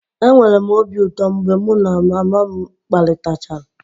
Enwere m obi ụtọ mgbe mụ na mama m kparịtachara